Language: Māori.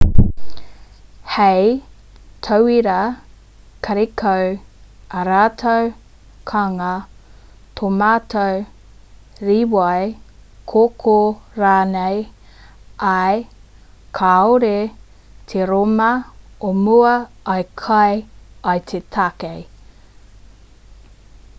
hei tauira karekau ā rātou kānga tōmato rīwai kōkō rānei ā kāore te rōma o mua i kai i te tākei